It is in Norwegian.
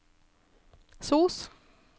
sos